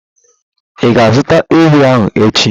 Ị ga-azụta ewi ahu echi?